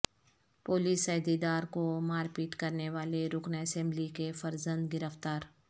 police عہدیدار کو مار پیٹ کرنے والے رکن اسمبلی کے فرزند گرفتار